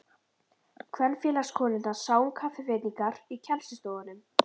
Kvenfélagskonurnar sáu um kaffiveitingar í kennslustofunum.